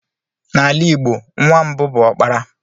N'ala Igbo, nwa mbụ bụ okpara.